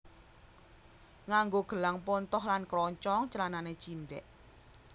Nganggo gelang pontoh lan kroncong clanane cindhe